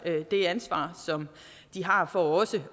det ansvar som de har for også